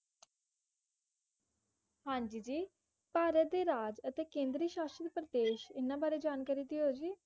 ਹਾਂਜੀ ਜੀ ਭਾਰਤ ਦੇ ਰਾਜ ਅਤੇ ਕੇਂਦਰੀ ਸ਼ਾਸਤ ਪ੍ਰਦੇਸ਼ ਇਹਨਾਂ ਬਾਰੇ ਜਾਣਕਾਰੀ ਦਿਓ ਜੀ